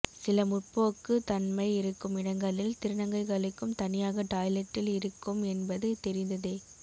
சில முற்போக்கு தன்மை இருக்கும் இடங்களில் திருநங்கைகளுக்கும் தனியாக டாய்லெட்டில் இருக்கும் என்பது தெரிந்ததே